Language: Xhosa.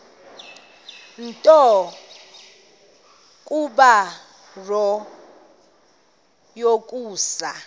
nto kubarrow yokusa